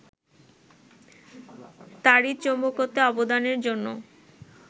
তাড়িৎ-চৌম্বকত্বে অবদানের জন্য